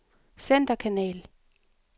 centerkanal